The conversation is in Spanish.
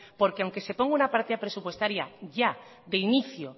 porque aunque se ponga una partida presupuestaria ya de inicio